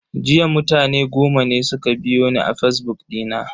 Jiya mutane goma ne suka biyo ni a fazbuk dina.